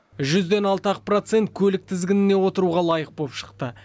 жүзден алты ақ процент көлік тізгініне отыруға лайық болып шықты